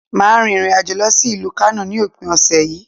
Màá rin ìrìnàjò lọ sí ìlú Kánò ní òpin òsè yí